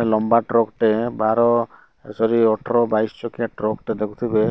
ଏ ଲମ୍ବା ଟ୍ରକ ଟେ ବାର ଏ ସରି ଅଠର ବାଇଶ ଚକିଆ ଟ୍ରକ ଟେ ଦେଖୁଥୁବେ